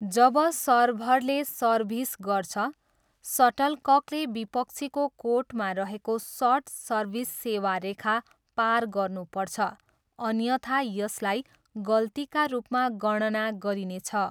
जब सर्भरले सर्भिस गर्छ, सटलककले विपक्षीको कोर्टमा रहेको सर्ट सर्भिस सेवा रेखा पार गर्नुपर्छ अन्यथा यसलाई गल्तीका रूपमा गणना गरिनेछ।